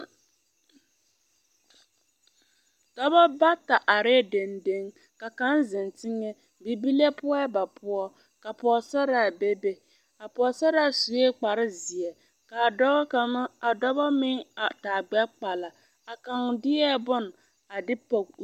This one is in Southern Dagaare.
Dɔbɔ bata are denden ka kaŋa zeŋ teŋɛ bibilee poɔɛ ba poɔ ka pɔgesaraa bebe a pɔgesaraa sue kparoŋ zeɛ ka dɔbɔ meŋ a taa gbɛkpala a kaŋa deɛ bone a de pɔge o